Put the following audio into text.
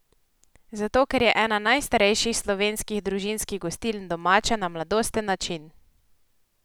Zato, ker je ena najstarejših slovenskih družinskih gostiln domača na mladosten način!